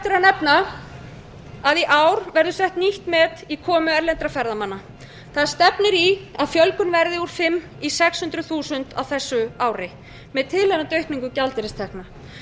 nefna að í ár verður sett nýtt met í komu erlendra ferðamanna það stefnir í að fjölgun verði úr fimm hundruð þúsund í sex hundruð þúsund á þessu ári með tilheyrandi aukningu gjaldeyristekna